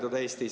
Aeg!